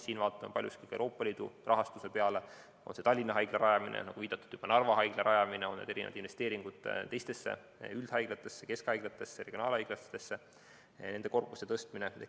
Siin vaatan paljuski ka Euroopa Liidu rahastuse poole, on see Tallinna haigla rajamine, on see, nagu juba viidatud, Narva uue haigla rajamine, on need investeeringud teistesse üldhaiglatesse, keskhaiglatesse, regionaalhaiglatesse.